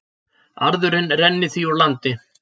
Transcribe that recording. Arðurinn renni því úr landi